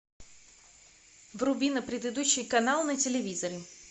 вруби на предыдущий канал на телевизоре